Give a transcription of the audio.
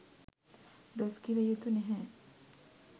දොස් කිව යුතු නැහැ.